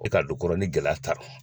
E ka don kɔrɔ la ni gɛlɛya t'a rɔ